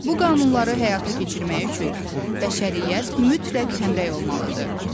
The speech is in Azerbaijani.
Bu qanunları həyata keçirmək üçün bəşəriyyət mütləq həmrəy olmalıdır.